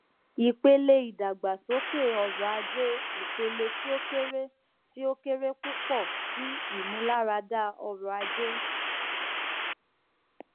ipele idagbasoke ọrọaje ipele ti o kere ti o kere pupọ ti imularada ọrọaje